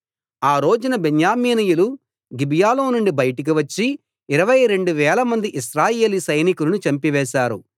ఆ రోజున బెన్యామీనీయులు గిబియాలో నుండి బయటికి వచ్చి ఇరవై రెండు వేలమంది ఇశ్రాయేలీ సైనికులను చంపివేశారు